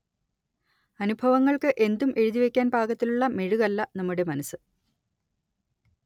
അനുഭവങ്ങൾക്ക് എന്തും എഴുതിവക്കാൻ പാകത്തിലുള്ള മെഴുകല്ല നമ്മുടെ മനസ്സ്